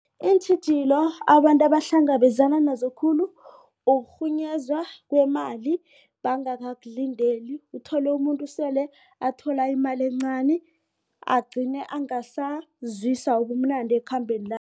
Iintjhijilo abantu abahlangabezana nazo khulu ukurhunyezwa kwemali bakangakulindeli uthole umuntu sele athola imali encani agcina angasazwisa ubumnandi ekhambeni